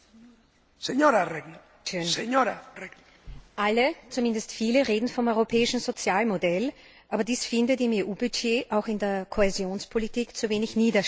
Herr Präsident! Alle zumindest viele reden vom europäischen Sozialmodell, aber dies findet im EU Budget, auch in der Kohäsionspolitik, zu wenig Niederschlag.